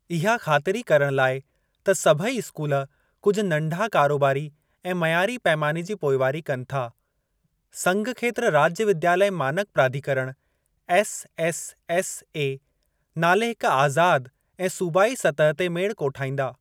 इहा ख़ातिरी करण लाइ त सभेई स्कूल कुझु नंढा कारोबारी ऐं मयारी पैमाने जी पोइवारी कनि था, संघखेत्र राज्य विद्यालय मानक प्राधिकरण (एसएसएसए) नाले हिक आज़ाद ऐं सूबाई सतह ते मेड़ कोठाईंदा।